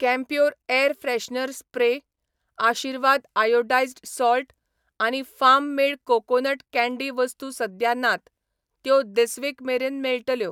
Campure air freshener spray, Aashirvaad iodized salt आनी farm made coconut candy वस्तू सद्या नात, त्यो धिस वीक मेरेन मेळटल्यो.